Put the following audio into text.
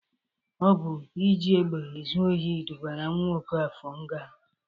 Ọ bụ iji egbe ezu ohi dubara nwa Ọkafọr nga.